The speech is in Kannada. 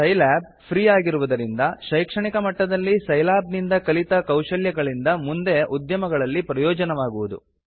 ಸೈಲ್ಯಾಬ್ ಫ್ರೀ ಆಗಿರುವುದರಿಂದ ಶೈಕ್ಷಣಿಕ ಮಟ್ಟದಲ್ಲಿ ಸೈಲ್ಯಾಬ್ ನಿಂದ ಕಲಿತ ಕೌಶಲ್ಯಗಳಿಂದ ಮುಂದೆ ಉದ್ಯಮಗಳಲ್ಲಿ ಪ್ರಯೋಜನವಾಗುವುದು